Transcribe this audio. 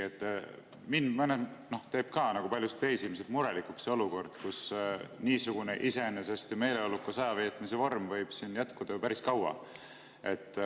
Mind, nagu ka paljusid teisi, ilmselt teeb murelikuks see olukord, kus niisugune iseenesest meeleolukas ajaveetmise vorm võib siin jätkuda ju päris kaua.